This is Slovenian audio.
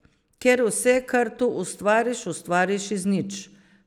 Ker vse, kar tu ustvariš, ustvariš iz nič.